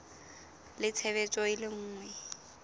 le tshebetso e le nngwe